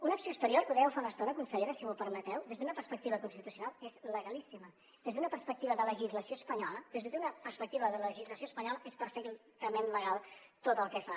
una acció exterior que ho dèieu fa una estona consellera si m’ho permeteu des d’una perspectiva constitucional és legalíssima des d’una perspectiva de legislació espanyola des d’una perspectiva de legislació espanyola és perfectament legal tot el que fa